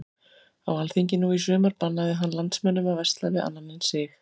Á alþingi nú í sumar bannaði hann landsmönnum að versla við annan en sig.